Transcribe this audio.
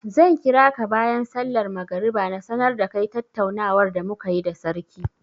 Zan kira ka bayan sallar magriba na sanar da kai tattaunawar da mu ka yi da sarki.